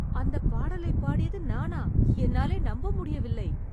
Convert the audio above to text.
அந்தப் பாடலைப் பாடியது நானா? என்னாலே நம்ப முடியவில்லை.